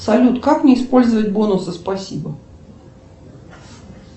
салют как мне использовать бонусы спасибо